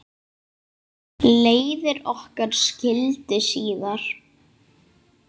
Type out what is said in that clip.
Leiðir okkar skildi síðan.